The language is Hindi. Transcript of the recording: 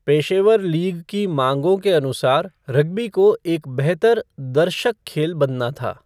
पेशेवर लीग की माँगों के अनुसार रग्बी को एक बेहतर 'दर्शक' खेल बनना था।